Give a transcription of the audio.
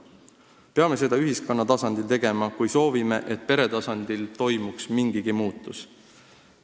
Peame seda tegema ühiskonna tasandil, kui soovime, et pere tasandil toimuks mingigi muutus.